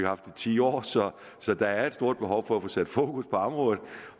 haft i ti år så der er et stort behov for at få sat fokus på området